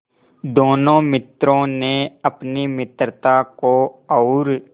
दोनों मित्रों ने अपनी मित्रता को और